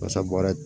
Wasa baara